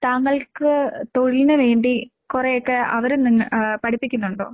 താങ്കൾക്ക് തൊഴിലിന് വേണ്ടി കൊറേയൊക്കെ അവര് നിങ്ങ ആഹ് പഠിപ്പിക്കുന്നുണ്ടോ?